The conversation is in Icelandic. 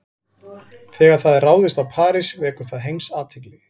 Þegar það er ráðist á París vekur það heimsathygli.